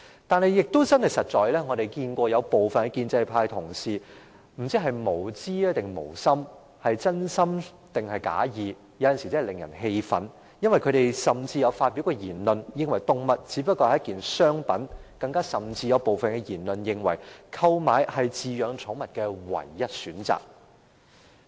但是，對於另一些建制派同事，我不知道他們是無知還是無心，是真心還是假意，他們的言論有時真的令人感到氣憤，因為他們曾說動物只是商品，甚至有部分人認為購買是飼養寵物的唯一選擇。